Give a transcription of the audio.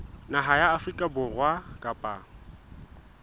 naha ya afrika borwa kapa